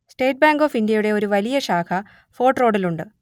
state bank of ഇന്ത്യയുടെ ഒരു വലിയ ശാഖ ഫോർട്ട് റോഡിൽ ഉണ്ട്